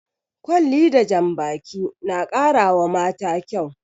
Kwalli da jan baki na ƙara wa mata kyau